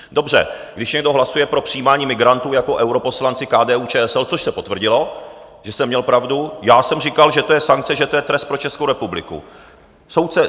Dobře, když někdo hlasuje pro přijímání migrantů jako europoslanci KDU-ČSL, což se potvrdilo, že jsem měl pravdu - já jsem říkal, že to je sankce, že to je trest pro Českou republiku.